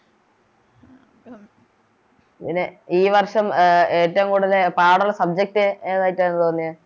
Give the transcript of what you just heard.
പിന്നെ ഈ വർഷം ഏറ്റോം കൂടുതൽ പാടൊള്ള Subject ഏതായിട്ടാണ് തോന്നിയെ